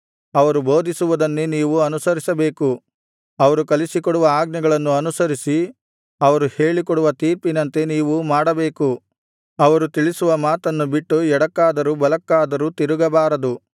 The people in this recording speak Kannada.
ಅವರು ಕಲಿಸಿಕೊಡುವ ಆಜ್ಞೆಗಳನ್ನು ಅನುಸರಿಸಿ ಅವರು ಹೇಳಿಕೊಡುವ ತೀರ್ಪಿನಂತೆ ನೀವು ಮಾಡಬೇಕು ಅವರು ತಿಳಿಸುವ ಮಾತನ್ನು ಬಿಟ್ಟು ಎಡಕ್ಕಾದರೂ ಬಲಕ್ಕಾದರೂ ತಿರುಗಬಾರದು